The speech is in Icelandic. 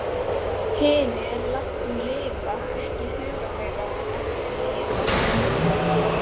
Hinir látnu lifa ekki í huga þeirra sem eftir lifa.